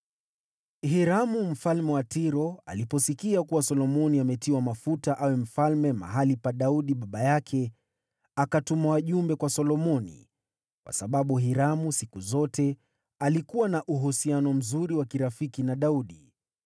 Hiramu mfalme wa Tiro aliposikia kuwa Solomoni ametiwa mafuta awe mfalme mahali pa Daudi baba yake, akatuma wajumbe kwa Solomoni, kwa sababu Hiramu siku zote alikuwa na uhusiano mzuri wa kirafiki na Daudi.